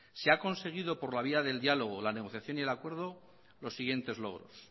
se ha conseguido por la vía diálogo la negociación y el acuerdo los siguientes logros